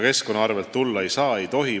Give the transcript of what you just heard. Keskkonna arvel see tulla ei saa, ei tohi.